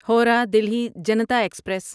Howrah Delhi Janata express